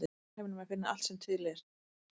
Í alheiminum er að finna allt sem er til.